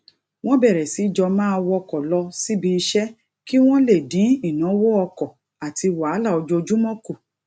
wón bèrè sí jọ máa wọkò lọ síbi iṣé kí wón lè dín ìnáwó ọkò àti wàhálà ojoojúmó kù